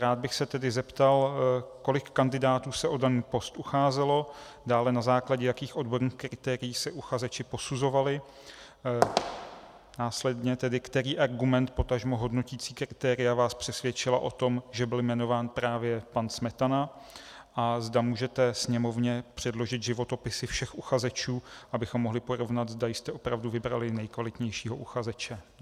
Rád bych se tedy zeptal, kolik kandidátů se o daný post ucházelo, dále, na základě jakých odborných kritérií se uchazeči posuzovali, následně tedy, který argument, potažmo hodnoticí kritéria vás přesvědčila o tom, že byl jmenován právě pan Smetana, a zda můžete Sněmovně předložit životopisy všech uchazečů, abychom mohli porovnat, zda jste opravdu vybrali nejkvalitnějšího uchazeče.